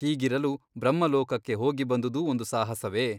ಹೀಗಿರಲು ಬ್ರಹ್ಮಲೋಕಕ್ಕೆ ಹೋಗಿಬಂದುದು ಒಂದು ಸಾಹಸವೇ ?